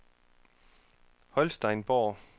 Holsteinsborg